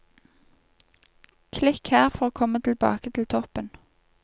Klikk her for å komme tilbake til toppen.